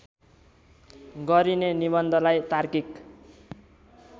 गरिने निबन्धलाई तार्किक